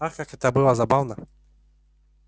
ах как это было забавно